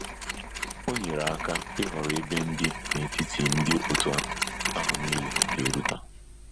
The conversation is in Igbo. O nyere aka ịhọrọ ebe ndi n'etiti ndi otu ahụ nile ga eruta.